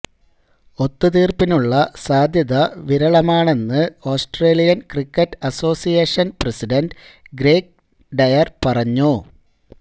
ഒത്തുതീര്പ്പിനുള്ള സാധ്യത വിരളമാണെന്ന് Australian cricket association president Greg Dyer പറഞ്ഞു